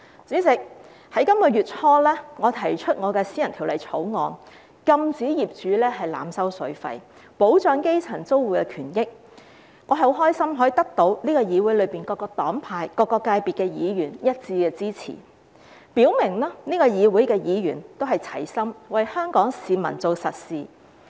主席，在本月初，我提出私人法案，禁止業主濫收水費，保障基層租戶的權益，我很高興能夠得到議會內各個黨派、各個界別議員的一致支持，表明這個議會的議員也是齊心為香港市民做實事。